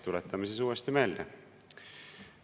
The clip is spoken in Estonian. Tuletame siis uuesti meelde.